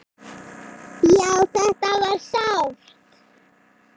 Já, þetta var sárt.